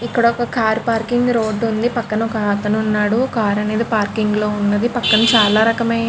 ఇక్కడ ఒక car parking road ఉంది. పక్కన ఒక అతను ఉన్నాడు. కారు అనేది పార్కింగ్ లో ఉన్నది. పక్కన చాలా రకమైన --